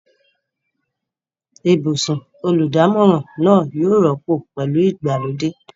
Ibùsùn olùdámọ̀ràn náà yóò rọ́pò pẹ̀lú ìgbàlódé.